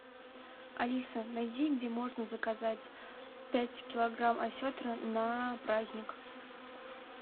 алиса найди где можно заказать пять килограмм осетра на праздник